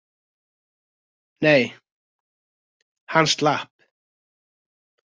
Nei, hann slapp.